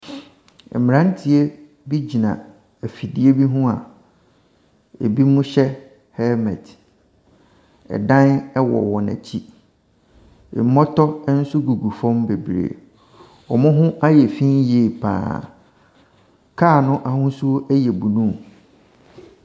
Mmaranteɛ bi gyina ɛfidie bi ho a ebinom hyɛ helmet. Ɛdan ɛwɔ wɔn ɛkyi. Mmɔtɔ ɛnso gugu fam bebree. Wɔn ho ayɛ finn yie paa. Car no ahosuo ɛyɛ blue.